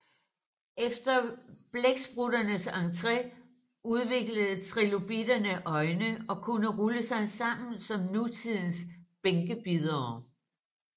Efter blæksprutternes entré udviklede trilobitterne øjne og kunne rulle sig sammen som nutidens bænkebidere